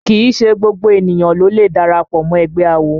Kìí ṣe gbogbo ènìyàn ló lè darapọ̀ mọ́ ẹgbẹ́ awo